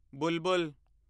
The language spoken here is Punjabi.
ਬੁਲਬੁਲ